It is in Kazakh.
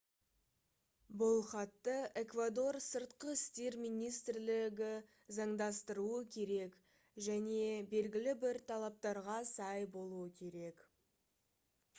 бұл хатты эквадор сыртқы істер министрлігі заңдастыруы керек және белгілі бір талаптарға сай болуы керек